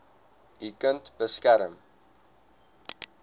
u kind beskerm